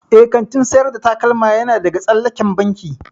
Eh, kantin sayar da takalma yana daga tsallaken banki.